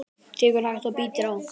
Tekur hægt og bítandi á.